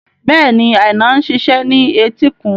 Bẹ́ẹ̀ni, Aina ń ṣiṣẹ́ ní etíkun